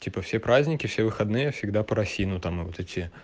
типа все праздники все выходные всегда парафину там вот эти